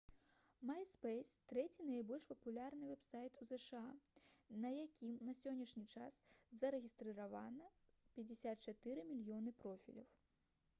myspace трэці найбольш папулярны вэб-сайт у зша на якім на сённяшні час зарэгістравана 54 мільёны профіляў